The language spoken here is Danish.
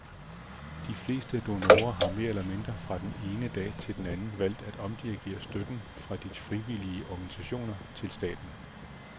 De fleste donorer har mere eller mindre fra den ene dag til den anden valgt at omdirigere støtten fra de frivillige organisationer til staten.